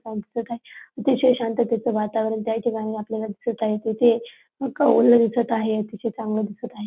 काय अतिशय शांततेच वातावरण त्या ठिकाणी आपल्याला दिसत आहे तेथे कौल दिसत आहे अतिशय चांगल दिसत आहे.